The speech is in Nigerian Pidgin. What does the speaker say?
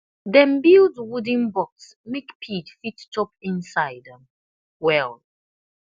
dem build wooden box make pig fit chop inside well